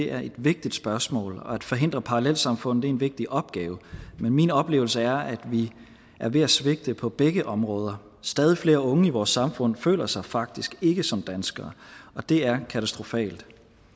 er et vigtigt spørgsmål og at forhindre parallelsamfund er en vigtig opgave men min oplevelse er at vi er ved at svigte på begge områder stadig flere unge i vores samfund føler sig faktisk ikke som danskere det er katastrofalt